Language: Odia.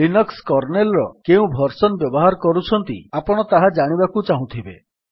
ଲିନକ୍ସ୍ କର୍ନେଲ୍ ର କେଉଁ ଭର୍ସନ୍ ବ୍ୟବହାର କରୁଛନ୍ତି ଆପଣ ତାହା ଜାଣିବାକୁ ଚାହୁଁଥିବେ